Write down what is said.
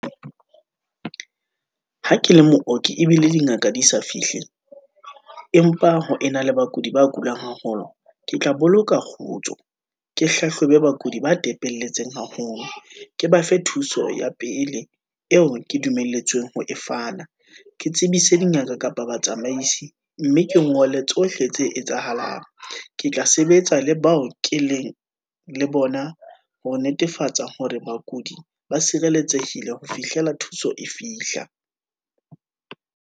Ha ke le mooki ebile dingaka di sa fihle, empa ho ena le bakudi ba kulang haholo, ke tla boloka kgotso, ke hlahlobe bakudi ba tepelletseng haholo, ke ba fe thuso ya pele eo ke dumelletsweng ho e fana. Ke tsebise dingaka kapa batsamaisi, mme ke ngole tsohle tse etsahalang, ke tla sebetsa le bao ke leng le bona, ho netefatsa hore bakudi ba sireletsehile ho fihlela thuso e fihla.